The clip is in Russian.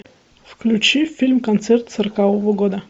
включи фильм концерт сорокового года